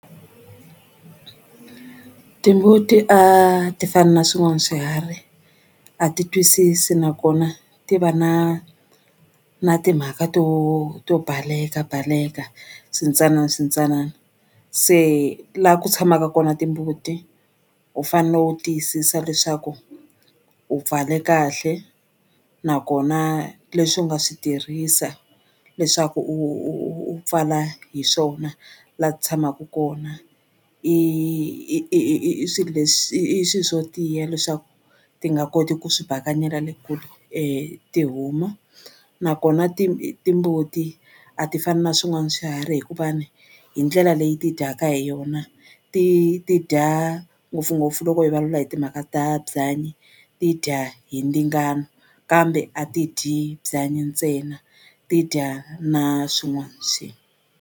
Timbuti a ti fani na swin'wana swiharhi a ti twisisi nakona ti va na na timhaka to to balekabaleka swintsananaswintsanana se la ku tshamaka kona timbuti u fanele u tiyisisa leswaku u pfale kahle nakona leswi u nga swi tirhisa leswaku u u u pfala hi swona la ti tshamaka kona i i i swilo leswi i i swi swo tiya leswaku ti nga koti ku swi bakanyela le kule tihomu nakona timbuti a ti fani na swin'wani swiharhi hikuva ni hi ndlela leyi ti dyaka hi yona ti ti dya ngopfungopfu loko hi vulavula hi timhaka ta byanyi ti dya hi ndzingano kambe a ti dyi byanyi ntsena ti dya na swin'wani .